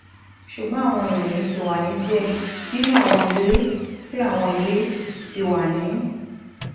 ṣugbọn awọn iroyin ti wa ni diẹ ninu awọn ile ti awọn ile ti wa ni